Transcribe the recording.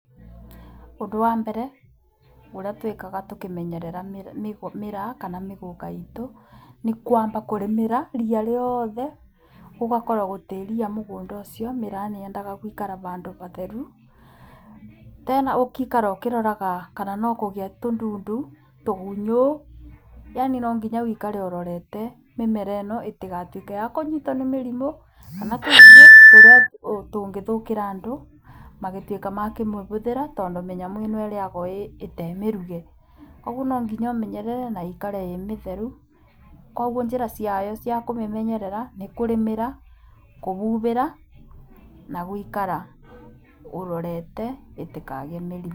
Ũndũ wa mbere ũrĩa twĩkaga tũkĩmenyerera mĩraa kana mĩgũka itũ nĩ kwamba kũrĩmĩra ria rĩothe gũgakorwo gũtirĩ ria mũgũnda ũcio. Mĩraa nĩ yendaga gũikara bandũ batheru. Tena ũgaikara ũkĩroraga kana no kũgĩe tũndundu tũgunyũ yani no nginya ũikare ũrorete mĩmera ĩno ĩtigatuĩke ya kũnyitwo nĩ mĩrimũ kana tũgunyũ tũrĩa tũngĩthũkĩra andũ magĩtuĩka makũmĩbũthĩra. Tondũ mĩnyamũ ĩno ĩrĩagwo ĩtarĩ mĩruge, koguo no nginya ũmenyerere na ĩikare ĩmĩtheru. Koguo njĩra ciayo cikũmenyerera nĩ kũrĩmĩra kũbubĩra na gũikara ũrorete ĩtekagĩe mĩrimũ.